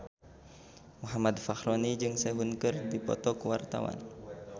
Muhammad Fachroni jeung Sehun keur dipoto ku wartawan